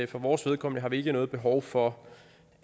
for vores vedkommende har vi ikke noget behov for